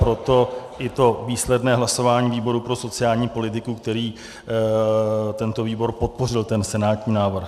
Proto i to výsledné hlasování výboru pro sociální politiku, který tento výbor podpořil ten senátní návrh.